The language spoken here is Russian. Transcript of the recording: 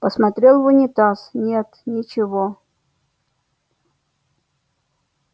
посмотрел в унитаз нет ничего